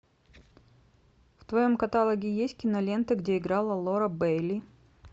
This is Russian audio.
в твоем каталоге есть киноленты где играла лора бэйли